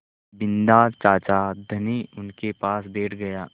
बिन्दा चाचा धनी उनके पास बैठ गया